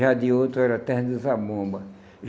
Já de outro era Terra de Zabumba.